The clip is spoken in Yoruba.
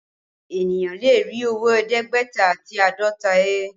Eniyan lè rí owó ẹ̀ẹ́dẹ́gbẹ̀ta àti àádọ́ta he